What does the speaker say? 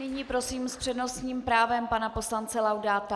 Nyní prosím s přednostním právem pana poslance Laudáta.